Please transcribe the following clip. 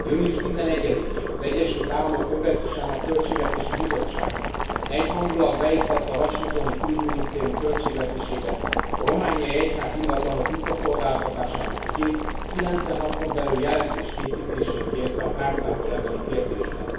Június 11 én az Egyesült Államok kongresszusának költségvetési bizottsága egyhangúlag beiktatta a washingtoni külügyminisztérium költségvetésébe a romániai egyházi ingatlanok visszaszolgáltatásának ügyét, 90 napon belül jelentés készítését kérte a tárcától ebben a kérdésben.